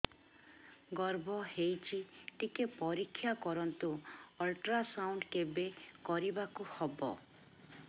ଗର୍ଭ ହେଇଚି ଟିକେ ପରିକ୍ଷା କରନ୍ତୁ ଅଲଟ୍ରାସାଉଣ୍ଡ କେବେ କରିବାକୁ ହବ